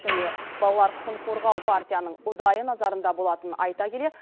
және балалар құқығын қорғау партияның ұдайы назарында болатынын айта келе